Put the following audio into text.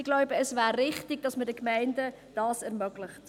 Ich glaube, es wäre richtig, dass wir dies den Gemeinden ermöglichen.